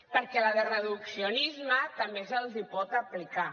perquè la de reduccionisme també se’ls pot aplicar